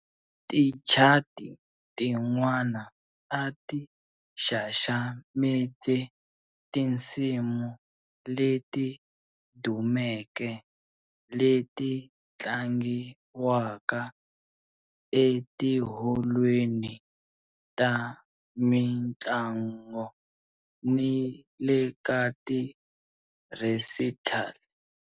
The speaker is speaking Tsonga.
Tichati tin'wana a ti xaxamete tinsimu leti dumeke leti tlangiwaka etiholweni ta mintlango ni le ka ti-recital.